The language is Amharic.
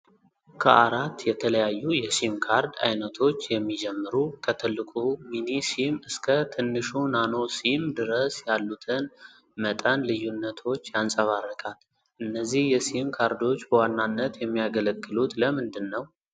ከአራት የተለያዩ የሲም ካርድ አይነቶች የሚጀምሩ፣ ከትልቁ ሚኒ ሲም እስከ ትንሹ ናኖ ሲም ድረስ ያሉትን መጠን ልዩነቶች ያንጸባርቃል። እነዚህ የሲም ካርዶች በዋናነት የሚያገለግሉት ለምንድን ነው?